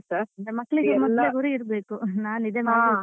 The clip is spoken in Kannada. ಮಕ್ಕಳಿಗೆ ಗುರಿ ಇರ್ಬೇಕು ನಾನು ಇದೆ ಮಾಡ್ಬೇಕಂತ ಗೊತ್ತಿರಬೇಕಷ್ಟೆ.